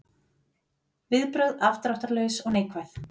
Viðbrögð afdráttarlaus og neikvæð